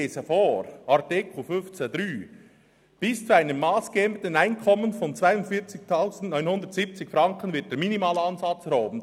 Ich lese vor: «Bis zu einem massgebenden Einkommen von 42 970 Franken wird der Minimalansatz erhoben;